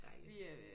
Dejligt